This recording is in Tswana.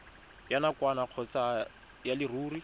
ya nakwana kgotsa ya leruri